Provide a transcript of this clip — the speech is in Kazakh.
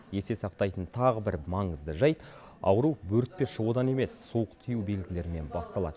есте сақтайтын тағы бір маңызды жайт ауру бөртпе шығудан емес суық тию белгілерінен басталады